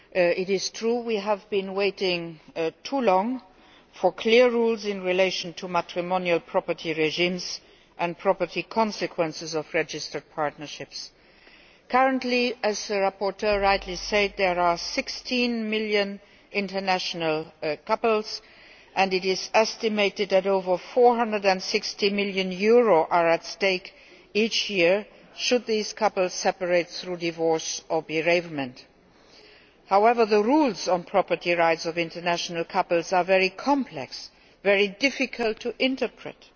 It is true that we have been waiting too long for clear rules in relation to matrimonial property regimes and property consequences of registered partnerships. Currently, as the rapporteur rightly said, there are 16 million international couples, and it is estimated that over EUR 460 million is at stake each year should these couples separate through divorce or bereavement. However, the rules on property rights of international couples are very complex and very difficult to interpret.